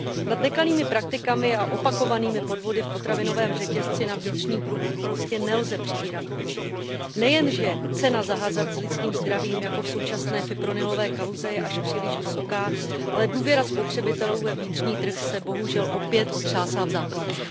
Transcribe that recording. Nad nekalými praktikami a opakovanými podvody v potravinovém řetězci na vnitřním trhu prostě nelze přivírat oči. Nejen, že cena za hazard s lidským zdravím jako v současné fipronilové kauze je až příliš vysoká, ale důvěra spotřebitelů ve vnitřní trh se bohužel opět otřásá v základech.